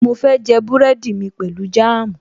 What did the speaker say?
Mo fẹ́ jẹ búrẹ́dì mi pẹ̀lú jáàmù